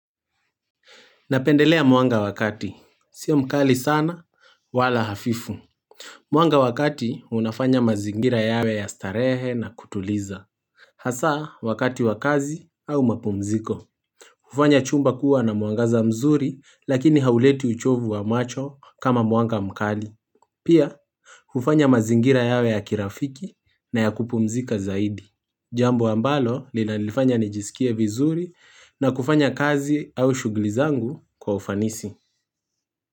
Napendelea mwanga wakati. Sio mkali sana wala hafifu. Mwanga wakati unafanya mazingira yawe ya starehe na kutuliza. Hasa wakati wakazi au mapumziko. Hufanya chumba kuwa na muangaza mzuri lakini hauleti uchovu wa macho kama mwanga mkali. Pia hufanya mazingira yawe ya kirafiki na ya kupumzika zaidi. Jambo ambalo lina nilifanya nijisikie vizuri na kufanya kazi au shuglizangu kwa ufanisi.